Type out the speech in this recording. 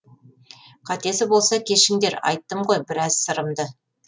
қатесі болса кешіңдер айттым ғой біраз сырымды